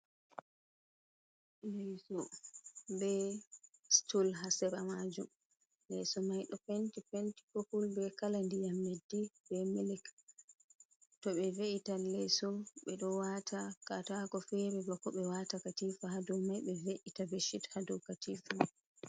Leeso be stul haa sera majum, leeso mai ɗo penti penti popul be kala ndiyam leddi, be milik to be ve’ita leeso ɓe ɗo waata katako fere bako ɓe waata katifa haa dou mai, ɓe ve’ita beshit haa dou katifa.